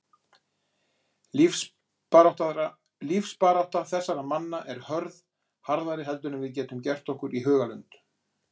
Lífsbarátta þessara manna er hörð, harðari heldur en við getum gert okkur í hugarlund.